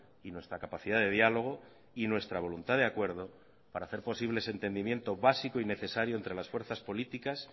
y nuestra capacidad de diálogo y nuestra voluntad de acuerdo para hacer posible ese entendimiento básico y necesario entre las fuerzas políticas